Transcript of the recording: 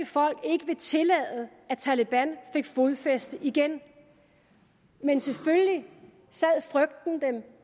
folk ikke vil tillade at taleban får fodfæste igen men selvfølgelig sad frygten dem